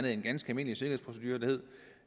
en ganske almindelig sikkerhedsprocedure med